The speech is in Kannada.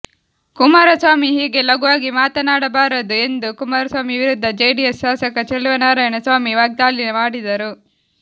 ಕುಮಾರಸ್ವಾಮಿ ಹೀಗೆ ಲಘವಾಗಿ ಮಾತನಾಡಬಾರದು ಎಂದು ಕುಮಾರಸ್ವಾಮಿ ವಿರುದ್ಧ ಜೆಡಿಎಸ್ ಶಾಸಕ ಚೆಲುವನಾರಾಯಣ ಸ್ವಾಮಿ ವಾಗ್ದಾಳಿ ಮಾಡಿದರು